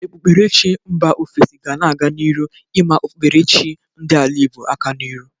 Okpukperechi mba ofesi ga na-aga n'iru ịma okpukperechi chi ndị ala Igbo aka n'iru